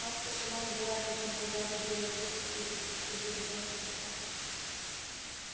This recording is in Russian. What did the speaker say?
матка сама убирает от него зад и делает вид что хочет укусить жеребёнка за пах